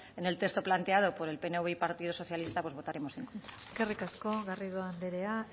en el texto planteado por el pnv y partido socialista pues votaremos en contra eskerrik asko garrido andrea